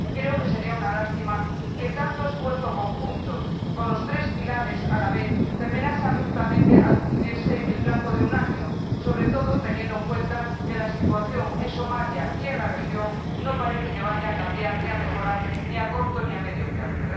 Creo que sería una lástima que tanto esfuerzo conjunto con los tres pilares a la vez terminase abruptamente al cumplirse el plazo de un año, sobre todo teniendo en cuenta que la situación en Somalia y en la región no parece que vaya a cambiar o a mejorar ni a corto ni a medio plazo.